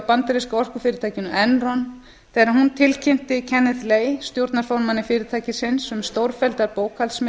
bandaríska orkufyrirtækinu enron þegar hún tilkynnti kenneth lay stjórnarformanni fyrirtækisins um stórfelldar